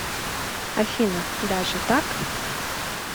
афина даже так